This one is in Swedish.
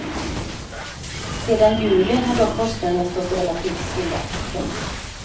Sedan juli har dock kostnaderna stått relativt stilla. punkt